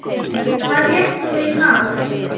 Hvað lést þú mig fá?